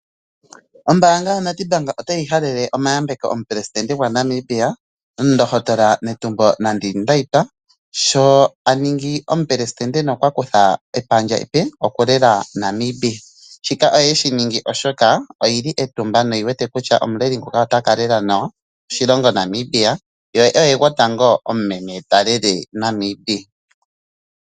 Ombaanga yaNedbank otayi halele omayambeko omuPresident gwaNamibia omundohotola Netumbo Nandi-Ndaitwah sho aningi omuPresident nokwakutha epandja epe okulela Namibia. Shika oye shiningi oshoka oyili etumba noyi wete kutya omuleli nguka otaka lela nawa oshilongo Namibia